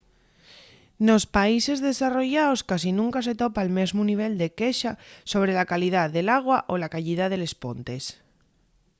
nos países desarrollaos casi nunca se topa'l mesmu nivel de quexa sobre la calidá del agua o la cayida de les pontes